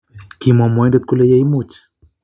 Kimwaa mwoindet kole yeeimuuch.